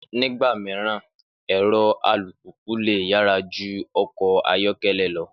Nígbà mìíràn, ẹ̀rọ alùpùpù lè yàrá ju ọkọ̀ ayọ̀kẹ́lẹ́ lọ